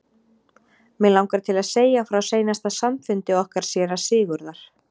Mig langar til að segja frá seinasta samfundi okkar séra Sigurðar.